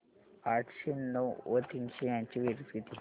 आठशे नऊ व तीनशे यांची बेरीज किती